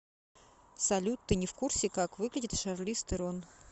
салют ты не в курсе как выглядит шарлиз терон